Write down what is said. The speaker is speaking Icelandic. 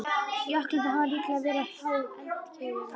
Jöklarnir hafa líklega verið á háum eldkeilum.